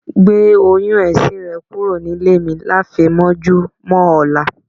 Gbé oyún ẹ̀sin rẹ kúrò nílé mi láfẹ̀mọ́júmọ̀ ọ̀la.